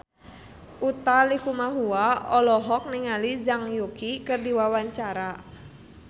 Utha Likumahua olohok ningali Zhang Yuqi keur diwawancara